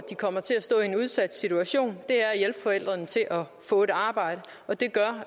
kommer til at stå i en udsat situation at hjælpe forældrene til at få et arbejde og det gør